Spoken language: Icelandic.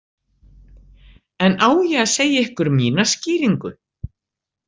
En á ég segja ykkur mína skýringu?